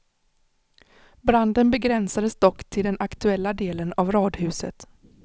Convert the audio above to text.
Branden begränsades dock till den aktuella delen av radhuset.